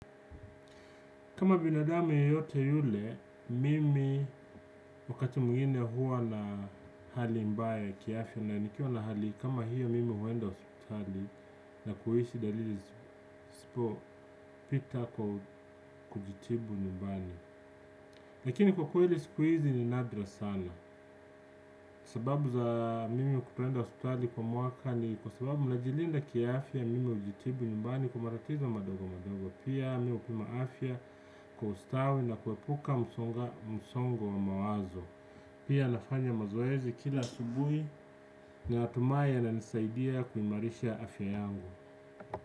Kama binadamu yeyote yule, mimi wakati mwingine huwa na hali mbaya ya kiafya na nikiwa na hali kama hiyo mimi huwenda hospitali na kuhisi dalili zisipo pita kujitibu nyumbani. Lakini kwa kweli siku hizi ni nadra sana sababu za mimi kutenda hospitali kwa mwaka ni kwa sababu najilinda kia afya mimi hujitibu nyumbani kwa matatizo madogo madogo pia mimi hupima afya kwa ustawi na kuepuka msongo wa mawazo pia nafanya mazoezi kila asubuhi na natumai yana nisaidia kuimarisha afya yangu.